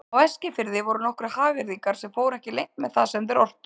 Á Eskifirði voru nokkrir hagyrðingar sem fóru ekki leynt með það sem þeir ortu.